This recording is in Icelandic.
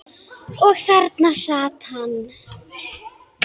Og þarna sat hann.